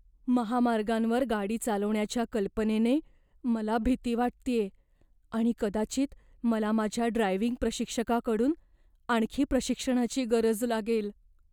महामार्गांवर गाडी चालवण्याच्या कल्पनेने मला भीती वाटतेय आणि कदाचित मला माझ्या ड्रायव्हिंग प्रशिक्षकाकडून आणखी प्रशिक्षणाची गरज लागेल.